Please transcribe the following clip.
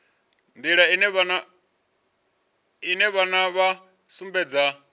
nḓila ine vhana vha sumbedza